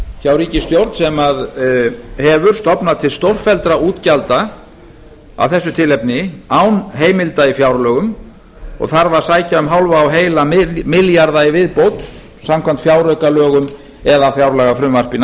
hjá ríkisstjórn sem hefur stofnað til stórfelldra útgjalda af þessu tilefni án heimilda í fjárlögum og þarf að sækja um hálfa og heila milljarða í viðbót samkvæmt fjáraukalögum eða fjárlagafrumvarpi